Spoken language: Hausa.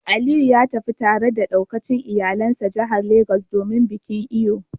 Aliyu ya tafi tare da daukacin iyalansa jihar Legas domin bikin Eyo